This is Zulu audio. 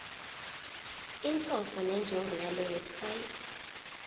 inhloso nenjongo yalewebsite